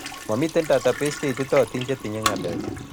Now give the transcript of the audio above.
Momitei database cheititootin chetinyei ng'alechu